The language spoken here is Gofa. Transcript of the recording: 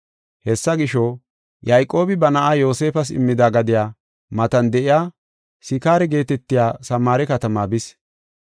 Hessa gisho, Yayqoobi ba na7aa Yoosefas immida gadiya matan de7iya Sikaare geetetiya Samaare katamaa bis.